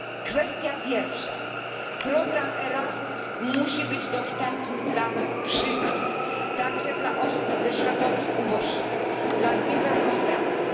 Kwestia pierwsza program Erasmus musi być dostępny dla wszystkich, także dla osób ze środowisk uboższych i dla niepełnosprawnych.